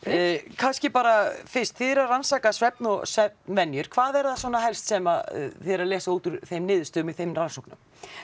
kannski bara fyrst þið eruð að rannsaka svefn og svefnvenjur hvað er það svona helst sem þið eruð að lesa út úr þeim niðurstöðum í þeim rannsóknum